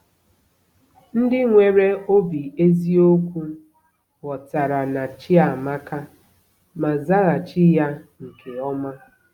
Ndị nwere obi eziokwu ghọtara na Chiamaka ma zaghachi ya nke ọma.